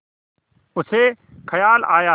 उसे ख़याल आया